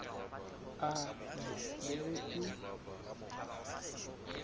a je le ge e